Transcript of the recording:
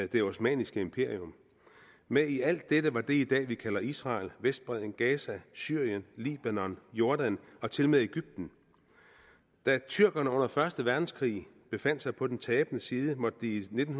det osmanniske imperium med i alt dette var det i dag kalder israel vestbredden gaza syrien libanon jordan og tilmed egypten da tyrkerne under første verdenskrig befandt sig på den tabende side måtte de i nitten